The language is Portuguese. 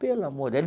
Pelo amor daí ele.